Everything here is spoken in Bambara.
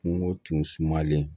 Kungo tun sumalen